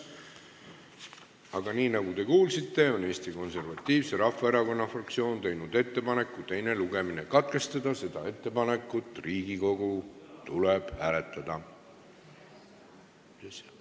Aga nii nagu te kuulsite, Eesti Konservatiivse Rahvaerakonna fraktsioon on teinud ettepaneku teine lugemine katkestada ja seda ettepanekut tuleb Riigikogul hääletada.